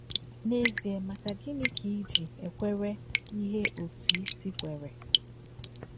N’ezie, maka gịnị ka i ji ekwere ihe otú i si ekwere?